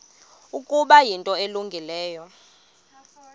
ukuba yinto elungileyo